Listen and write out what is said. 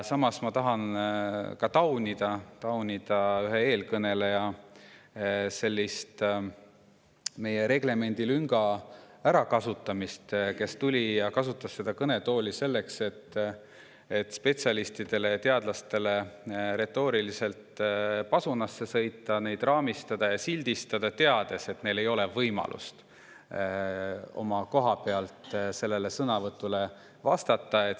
Samas tahan taunida seda, et meie reglemendi lünka kasutas ära üks eelkõneleja, kes tuli ja kasutas seda kõnetooli selleks, et spetsialistidele ja teadlastele retooriliselt pasunasse sõita, neid raamistada ja sildistada, teades, et neil ei ole võimalust koha pealt sellele sõnavõtule vastata.